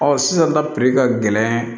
Ɔ sisan na piri ka gɛlɛn